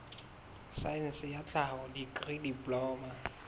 saense ya tlhaho dikri diploma